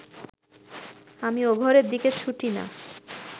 আমি ও ঘরের দিকে ছুটি না